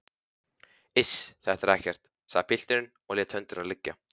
Iss, þetta er ekkert, sagði pilturinn og lét höndina liggja.